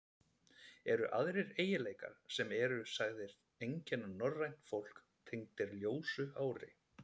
Eru aðrir eiginleikar, sem sagðir eru einkenna norrænt fólk, tengdir ljósu hári?